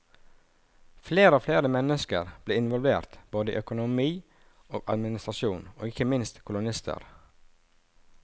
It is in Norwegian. Flere og flere mennesker blir involvert, både i økonomi og administrasjon, og ikke minst som kolonister.